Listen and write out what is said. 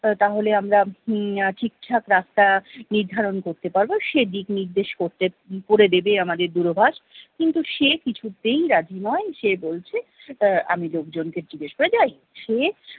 তাহলে আমরা উম ঠিকঠাক রাস্তা নির্ধারণ করতে পারবো সে দিক নির্দেশ করতে, করে দেবে আমাদের দূরভাষ। কিন্তু সে কিছুতেই রাজি নয়, সে বলছে আহ আমি লোকজনকে জিজ্ঞেস করে যাই। সে